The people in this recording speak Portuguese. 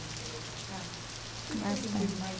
você veio para cá? Bastante. O que que você sentiu mais